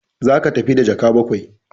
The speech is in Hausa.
Za ka tafi da jaka bakwai!